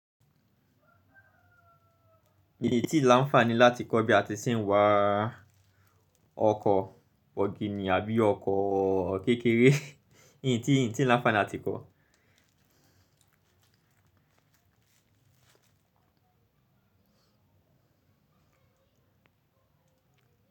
Ìn tí lááńfaní láti kọ́ bí a ti ṣe n wà ọkọ̀ ọ̀gìnì àbí ọkọ̀ kékeré, in tí làáńfaní láti kọ́.